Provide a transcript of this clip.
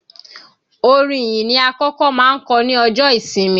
Orin ìyìn ni akọ́kọ́ máa ń kọ ní ọjọ́ ìsinmi